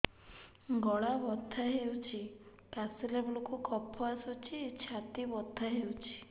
ଗଳା ବଥା ହେଊଛି କାଶିଲା ବେଳକୁ କଫ ଆସୁଛି ଛାତି ବଥା ହେଉଛି